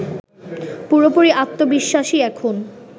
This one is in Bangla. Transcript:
পুরোপুরি আত্নবিশ্বাসী এখন